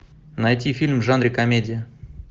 найти фильм в жанре комедия